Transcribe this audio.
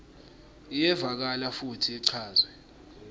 iyevakala futsi ichazwe